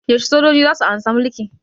Yaushe sojoji zasu amshi mulki?